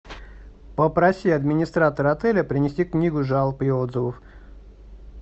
попроси администратора отеля принести книгу жалоб и отзывов